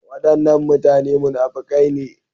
Wadannan mutane munafukai ne.